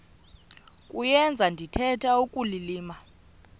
kuyenza ndithetha ukulilima